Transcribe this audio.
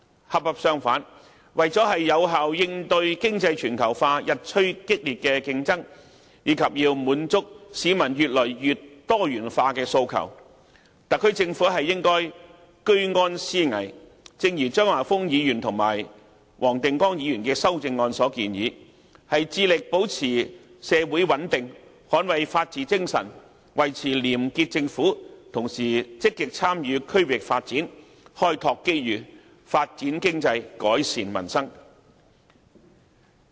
恰恰相反，為了有效應對經濟全球化日趨激烈的競爭，以及滿足市民越來越多元化的訴求，特區政府應該居安思危，正如張華峰議員及黃定光議員的修正案所建議，致力保持社會穩定，捍衞法治精神，維持廉潔政府，同時積極參與區域發展，開拓機遇，發展經濟，改善民生。